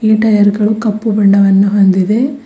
Tyre ಗಳು ಕಪ್ಪು ಬಣ್ಣವನ್ನು ಹೊಂದಿದೆ.